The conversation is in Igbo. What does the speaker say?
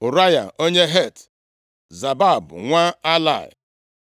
Ụraya onye Het, Zabad nwa Alai,